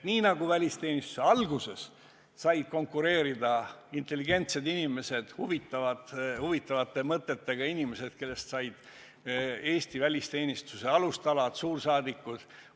Välisteenistuse alguses said sinna konkureerida intelligentsed inimesed, huvitavate mõtetega inimesed, kellest said Eesti välisteenistuse alustalad, suursaadikud.